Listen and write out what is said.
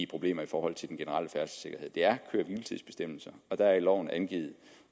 problemer i forhold til den generelle færdselssikkerhed det er køre hvile tids bestemmelser og der er i loven angivet